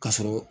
Ka sɔrɔ